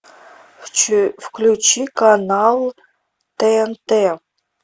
включи канал тнт